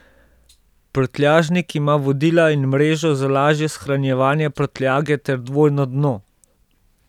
Prtljažnik ima vodila in mrežo za lažje shranjevanje prtljage ter dvojno dno.